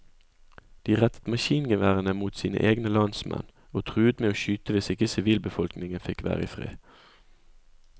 De rettet maskingeværene mot sine egne landsmenn, og truet med å skyte hvis ikke sivilbefolkningen fikk være i fred.